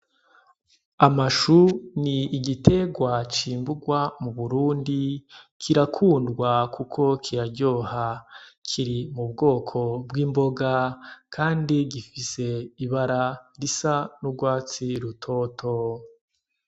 Amashu ni igitegwa cimbugwa mu Burundi kirakundwa kuko kiraryoha kiri mubwoko bw'imboga kandi gifise ibara risa n' ugwatsi rutoto.